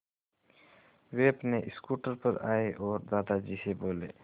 वे अपने स्कूटर पर आए और दादाजी से बोले